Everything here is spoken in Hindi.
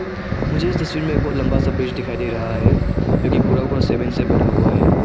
मुझे इस तस्वीर में एक बहुत लंबा सा ब्रिज दिखाई दे रहा है जो कि पूरा पूरा सीमेंट से बना हुआ है।